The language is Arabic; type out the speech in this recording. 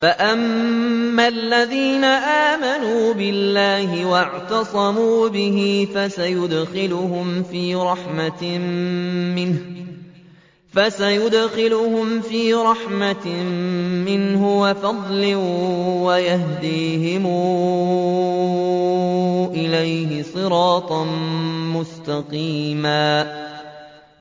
فَأَمَّا الَّذِينَ آمَنُوا بِاللَّهِ وَاعْتَصَمُوا بِهِ فَسَيُدْخِلُهُمْ فِي رَحْمَةٍ مِّنْهُ وَفَضْلٍ وَيَهْدِيهِمْ إِلَيْهِ صِرَاطًا مُّسْتَقِيمًا